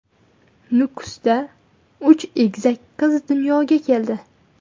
Nukusda uch egizak qiz dunyoga keldi.